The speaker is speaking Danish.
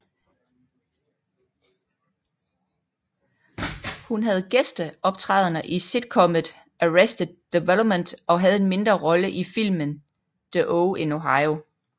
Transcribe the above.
Hun havde gæsteoptrædener i sitcomet Arrested Development og havde en mindre rolle i filmen The Oh in Ohio